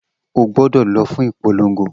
O gbọdọ lọ fún ìpolongo